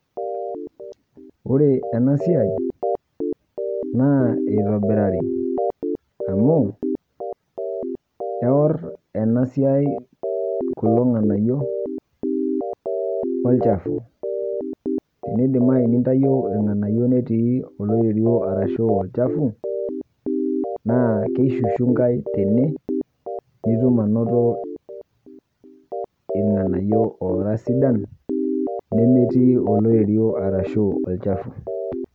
Ore ena siai naa eitobirari, amu kewor ena siai kulo nganayio olchafu. Nidimayu nintayio ilnganayio netii oloiterio ashuu olchafu naa keshushunga tene nitum anoto ilnganayio oara sidan nemetii oloiterio ashuu olchafu.